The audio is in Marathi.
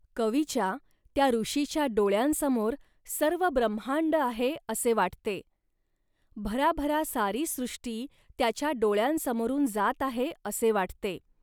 कवीच्यात्या ऋषीच्याडोळ्यांसमोर सर्व ब्रम्हांड आहे, असे वाटते. भराभरा सारी सृष्टी त्याच्या डोळ्यांसमोरून जात आहे, असे वाटते